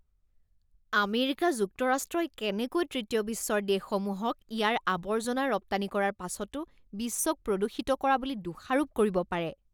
America যুক্তৰাষ্ট্ৰই কেনেকৈ তৃতীয় বিশ্বৰ দেশসমূহক ইয়াৰ আৱৰ্জনা ৰপ্তানি কৰাৰ পাছতো বিশ্বক প্ৰদূষিত কৰা বুলি দোষাৰোপ কৰিব পাৰে?